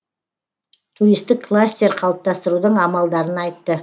туристік кластер қалыптастырудың амалдарын айтты